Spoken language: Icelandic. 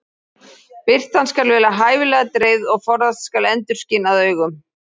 Birtan skal vera hæfilega dreifð og forðast skal endurskin að augum.